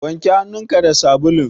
Wanke hannun ka da sabulun.